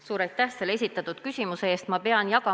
Suur aitäh esitatud küsimuse eest!